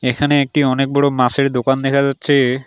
এখানে একটি অনেক বড়ো মাসের দোকান দেখা যাচ্ছে।